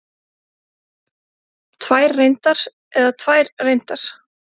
Tvær reyndar eða tvær reyndar?